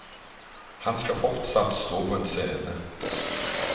Han skal fortsatt stå på en scene.